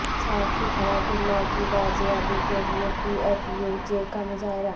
صحافی حیات اللہ کی بازیابی کے لیئے پی ایف یو جے کا مظاہرہ